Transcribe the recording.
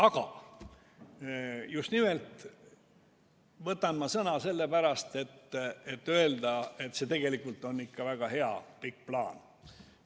Aga ma võtsin hoopis sellepärast sõna, et öelda, et tegelikult on see ikka väga hea pikk plaan.